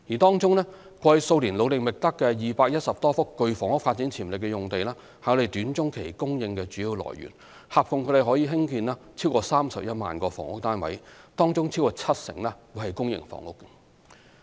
過去數年努力覓得的210多幅具房屋發展潛力用地是短中期供應的主要來源，合共可興建逾31萬個房屋單位，當中超過七成為公營房屋。